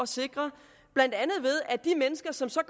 sikre blandt andet ved at de mennesker som så